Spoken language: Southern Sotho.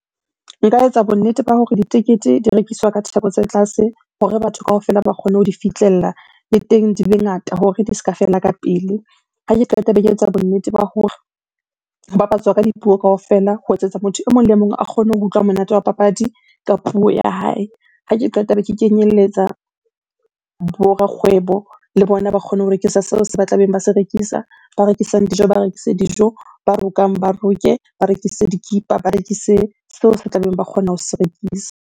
Nka etsa bonnete ba hore ditekete di rekiswa ka theko tse tlase hore batho kaofela ba kgone ho di fihlella, le teng di be ngata hore di se ka fela ka pele. Ha ke qeta be ke etsa bonnete ba hore ho bapatswa ka dipuo kaofela ho etsetsa motho e mong le mong a kgone ho utlwa monate wa papadi ka puo ya hae. Ha ke qeta be ke kenyelletsa bo rakgwebo, le bona ba kgone ho rekisa seo se ba tlabeng ba se rekisa. Ba rekisang dijo ba rekise dijo, ba rokang ba roke, ba rekise dikipa. Ba rekise seo se tlabeng ba kgona ho se rekisa.